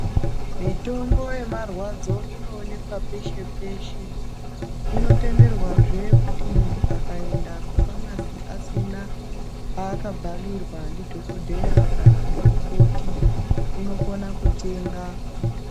Mitombo yemarwadzo inoonekwa peshe peshe , inotenderwazve kuti muntu akaenda kufamasi asina paakabhalirwa ndidhokodheya kana ngemukoti unokona kutenga.